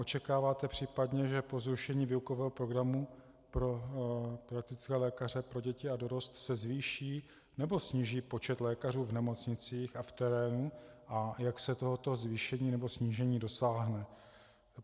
Očekáváte případně, že po zrušení výukového programu pro praktické lékaře pro děti a dorost se zvýší nebo sníží počet lékařů v nemocnicích a v terénu a jak se tohoto zvýšení nebo snížení dosáhne?